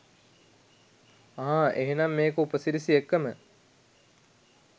අහා එහෙනම් මේක උපසිරැසි එක්කම